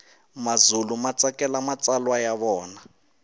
mazulu matsakela matsalwa yavona